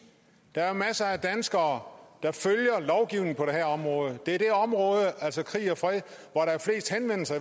der er masser af danskere der følger lovgivningen på det her område det er det område altså krig og fred